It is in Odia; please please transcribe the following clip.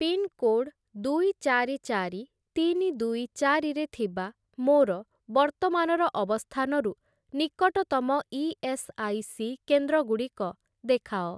ପିନ୍‌କୋଡ଼୍‌ ଦୁଇ ଚାରି ଚାରି ତିନି ଦୁଇ ଚାରି ରେ ଥିବା ମୋର ବର୍ତ୍ତମାନର ଅବସ୍ଥାନରୁ ନିକଟତମ ଇ.ଏସ୍‌.ଆଇ.ସି. କେନ୍ଦ୍ରଗୁଡ଼ିକ ଦେଖାଅ ।